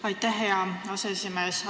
Aitäh, hea aseesimees!